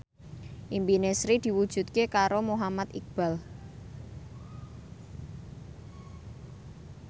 impine Sri diwujudke karo Muhammad Iqbal